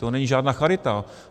To není žádná charita.